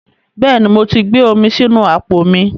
Bẹ́ẹ̀ ni, mo ti gbé omi sínú àpò mi